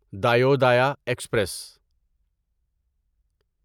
Dayodaya express